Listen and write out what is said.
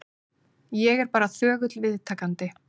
Ég er bara þögull viðtakandi.